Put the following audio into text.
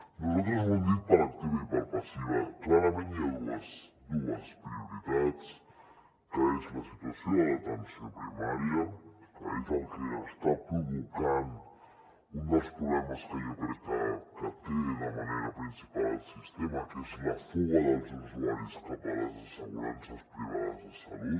nosaltres ho hem dit per activa i per passiva clarament hi ha dues prioritats que són la situació de l’atenció primària que és el que està provocant un dels problemes que jo crec que té de manera principal el sistema que és la fuga dels usuaris cap a les assegurances privades de salut